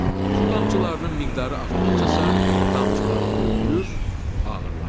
Su damcılarının miqdarı artdıqca isə damcılar böyüyür, ağırlaşır.